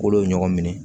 Kolo ye ɲɔgɔn minɛ